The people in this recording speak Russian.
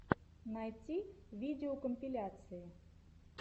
найти видеокомпиляции